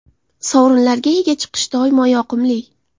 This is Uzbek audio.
Sovrinlarga ega chiqish doimo yoqimli.